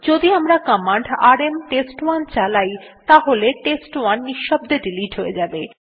যদি আমরা command RM test one চালাই তাহলে টেস্ট1 নিঃশব্দে ডিলিট হয়ে যাবে